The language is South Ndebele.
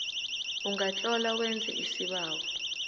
ungatlola wenze isibawo